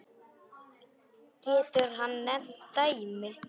Getur hann nefnt dæmi?